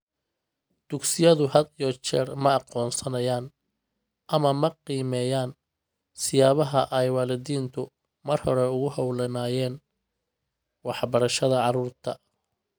Dugsiyadu had iyo jeer ma aqoonsanayaan ama ma qiimeeyaan siyaabaha ay waalidiintu mar hore ugu hawlanaayeen waxbarashada carruurta.